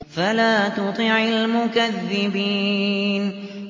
فَلَا تُطِعِ الْمُكَذِّبِينَ